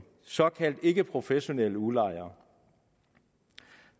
såkaldt ikkeprofessionelle udlejere